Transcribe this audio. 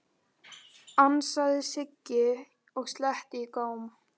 ansaði Siggi og sletti í góm.